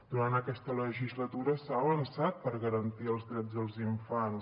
durant aquesta legislatura s’ha avançat per garantir els drets dels infants